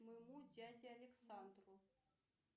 моему дяде александру